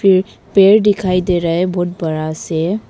एक पेड़ दिखाई दे रहा है बहुत बड़ा से।